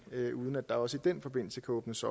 uden at der også i den forbindelse kan åbnes